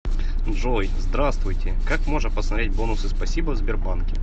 джой здравствуйте как можно посмотреть бонусы спасибо в сбербанке